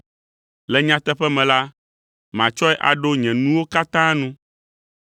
Le nyateƒe me la, matsɔe aɖo nye nuwo katã nu.